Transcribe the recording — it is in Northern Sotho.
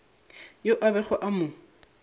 yo a bego a mo